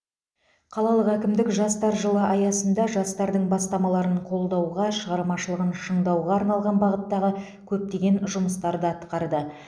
қалалық әкімдік жастар жылы аясында жастардың бастамаларын қолдауға шығармашылығын шыңдауға арналған бағыттағы көптеген жұмыстарды атқарды